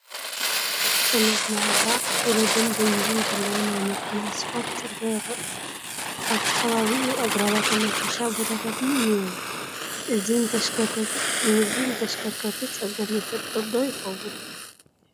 ጠመዝማዛ ውረድ ደይብን ዘለዎ ናይ መኪና ስፋልት ፅርጊያ ይርአ ኣሎ፡፡ ኣብቲ ከባቢኡ ኣግራባትን ናይ ሕርሻ ቦታታትን እኔዉ፡፡ እዚ ንተሽከርከርቲ ፀገም ይፈጥር ዶ ይኸውን?